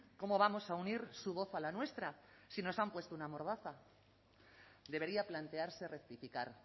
cómo vamos a unir su voz a la nuestra si nos han puesto una mordaza debería plantearse rectificar